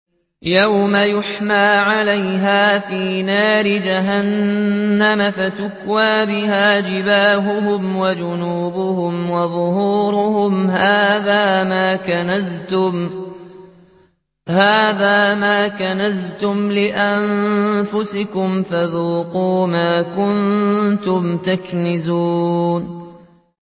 يَوْمَ يُحْمَىٰ عَلَيْهَا فِي نَارِ جَهَنَّمَ فَتُكْوَىٰ بِهَا جِبَاهُهُمْ وَجُنُوبُهُمْ وَظُهُورُهُمْ ۖ هَٰذَا مَا كَنَزْتُمْ لِأَنفُسِكُمْ فَذُوقُوا مَا كُنتُمْ تَكْنِزُونَ